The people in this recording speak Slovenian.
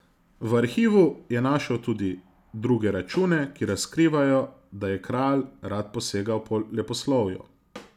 V arhivu je našel tudi druge račune, ki razkrivajo, da je kralj rad posegal po leposlovju.